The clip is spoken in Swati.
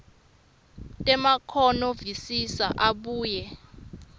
temakhono visisa abuye